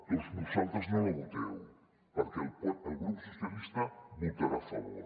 doncs vosaltres no la voteu perquè el grup socialistes hi votarà a favor